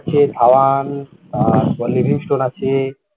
আছে ধাবান লিভ হিস্টোন আছে